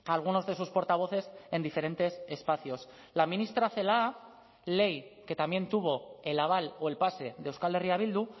algunos de sus portavoces en diferentes espacios la ministra celaá ley que también tuvo el aval o el pase de euskal herria bildu